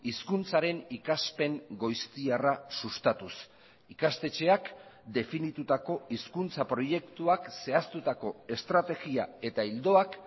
hizkuntzaren ikaspen goiztiarra sustatuz ikastetxeak definitutako hizkuntza proiektuak zehaztutako estrategia eta ildoak